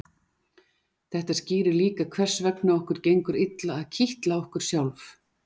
Þetta skýrir líka hvers vegna okkur gengur illa að kitla okkur sjálf.